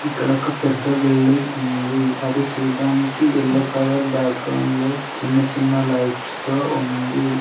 ఇక్కడ ఒక పెద్ద బిల్డింగ్ ఉంది అది చూడ్డానికి ఎల్లో కలర్ బాక్గ్రౌండ్ లో చిన్న చిన్న లైట్స్ తో ఉంది.